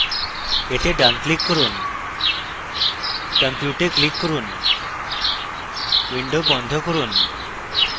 এতে ডান click করুন compute এ click করুন window বন্ধ করুন